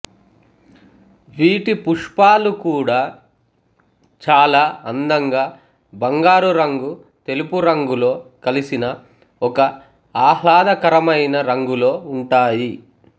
వీటి పుష్పాలు కూడా చాలా అందంగా బంగారు రంగు తెలుపు రంగులో కలిసిన ఒక ఆహ్లదకరమైన రంగులో ఉంటాయి